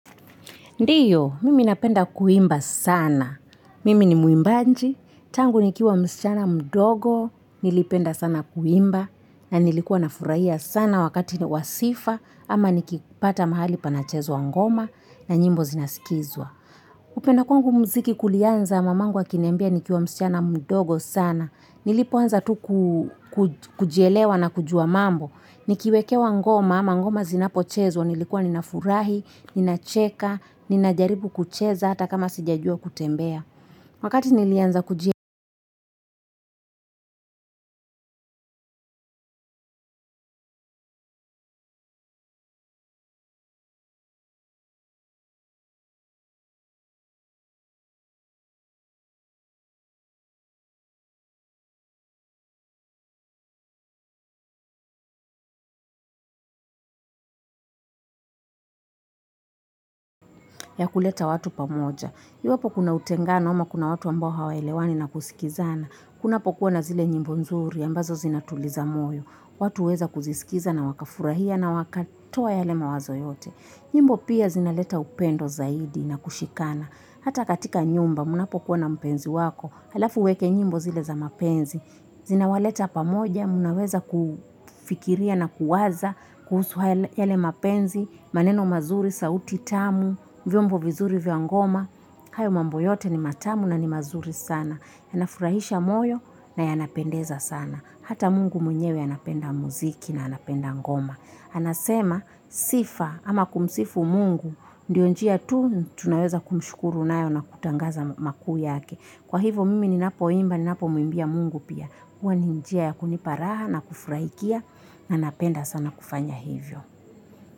Ndiyo, mimi napenda kuimba sana. Mimi ni muimbaji, tangu nikiwa msichana mdogo, nilipenda sana kuimba, na nilikuwa nafurahia sana wakati ni wa sifa, ama nikipata mahali panachezwa ngoma, na nyimbo zinasikizwa. Kupenda kwangu muziki kulianza mamangu akiniambia nikiwa msichana mdogo sana. Nilipoanza tu kujilewa na kujua mambo. Nikiwekewa ngoma ama ngoma zinapochezwa nilikuwa ninafurahi, ninacheka, ninajaribu kucheza hata kama sijajua kutembea. Wakati nilianza kuji ya kuleta watu pamoja, iwapo kuna utengano, ama kuna watu ambao hawaelewani na kusikizana, kunapokuwa na zile nyimbo nzuri, ambazo zinatuliza moyo, watu huweza kuzisikiza na wakafurahia na wakatoa yale mawazo yote. Nyimbo pia zinaleta upendo zaidi na kushikana. Hata katika nyumba, mnapo kuwa na mpenzi wako. Halafu uweke nyimbo zile za mapenzi. Zina waleta pamoja, mnaweza kufikiria na kuwaza, kuhusu yale mapenzi, maneno mazuri, sauti tamu, vyombo vizuri vya ngoma. Hayo mambo yote ni matamu na ni mazuri sana. Yanafurahisha moyo na yanapendeza sana. Hata Mungu mwenyewe anapenda muziki na anapenda ngoma. Anasema sifa ama kumsifu mungu. Ndiyo njia tu tunayoweza kumshukuru nayo na kutangaza makuu ya ke. Kwa hivo mimi ninapo imba ninapo muimbia mungu pia. Huwa ni njia ya kunipa raha na kufurahikia na nanapenda sana kufanya hivyo.